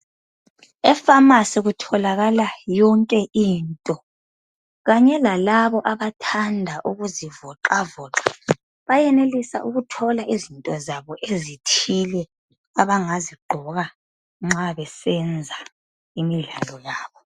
Efamasi kutholakala yonke into kanye lalaba abathanda ukuzivoxavoxa bayenelisa ukuthola izinto zabo ezithile abangazigqoka nxa besenza imidlalo yabo.